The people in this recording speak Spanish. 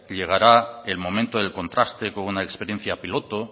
llegará el momento del contraste con una experiencia piloto